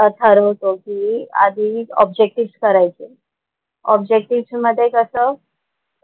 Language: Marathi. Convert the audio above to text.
अह ठरवतो की आधी ऑब्जेक्टिव्हज करायचे. ऑब्जेक्टिव्हज मध्ये कसं